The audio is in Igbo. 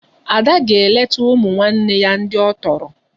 Ada ga-elekọta ụmụnne ya ndị ọ tọrọ